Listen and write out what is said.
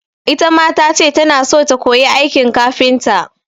Ita ma ta ce tana so ta koyi aikin kafinta.